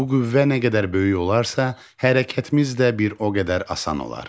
Bu qüvvə nə qədər böyük olarsa, hərəkətimiz də bir o qədər asan olar.